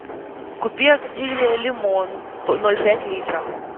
купи активиа лимон ноль пять литра